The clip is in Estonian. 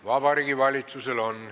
Vabariigi Valitsusel on.